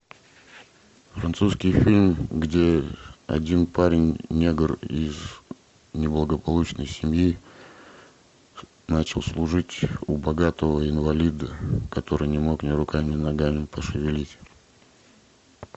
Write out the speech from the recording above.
французский фильм где один парень негр из неблагополучной семьи начал служить у богатого инвалида который не мог ни руками ни ногами пошевелить